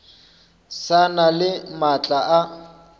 sa na le maatla a